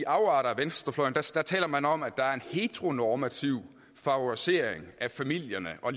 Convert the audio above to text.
afarter af venstrefløjen taler man om at der er en heteronormativ favorisering af familierne og